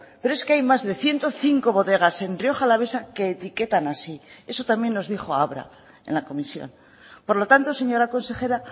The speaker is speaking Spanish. pero es que hay más de ciento cinco bodegas en rioja alavesa que etiquetan así eso también nos dijo abra en la comisión por lo tanto señora consejera